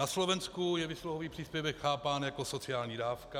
Na Slovensku je výsluhový příspěvek chápán jako sociální dávka.